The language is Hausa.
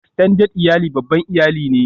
Extended iyali babban iyali ne